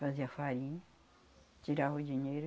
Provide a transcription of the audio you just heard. Fazia farinha, tirava o dinheiro